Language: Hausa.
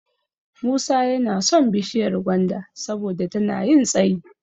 Musa yana son bishiyar gwanda saboda tana yin tsayi.